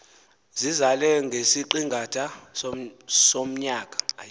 zizalela ngesiqingatha somnyaka